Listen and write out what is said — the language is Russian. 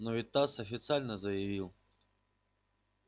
но ведь тасс официально заявил